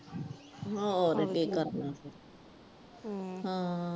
ਹੋਰ ਕਿ ਕਰਨਾ ਫੇਰ